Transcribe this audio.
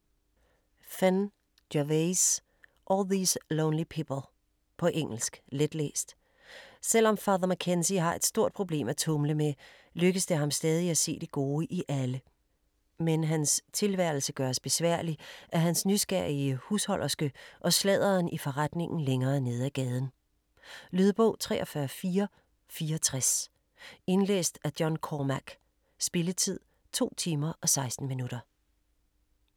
Phinn, Gervase: All these lonely people På engelsk. Letlæst. Selvom Father McKenzie har et stort problem at tumle med, lykkes det ham stadig at se det gode i alle. Men hans tilværelse gøres besværlig af hans nysgerrige husholderske og sladderen i forretningen længere ned af gaden. Lydbog 43464 Indlæst af John Cormack. Spilletid: 2 timer, 16 minutter.